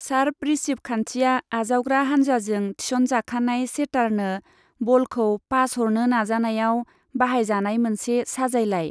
सार्भ receive खान्थिया आजावग्रा हान्जाजों थिसनजाखानाय सेटारनो बलखौ पास हरनो नाजानायाव बाहायजानाय मोनसे साजायलाय।